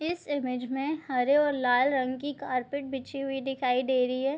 इस इमेज में हरे और लाल रंग की कार्पेट बिछी हुई दिखाई दे रही है।